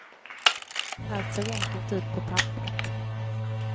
Allt såg enkelt ut på papperet.